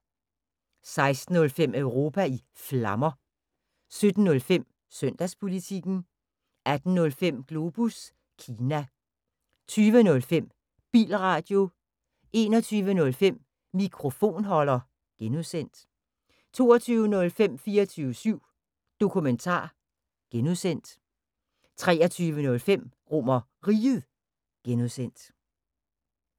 16:05: Europa i Flammer 17:05: Søndagspolitikken 18:05: Globus Kina 20:05: Bilradio 21:05: Mikrofonholder (G) 22:05: 24syv Dokumentar (G) 23:05: RomerRiget (G)